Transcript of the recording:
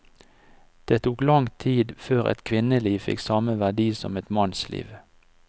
Det tok lang tid før et kvinneliv fikk samme verdi som et mannsliv.